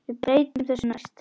Við breytum þessu næst.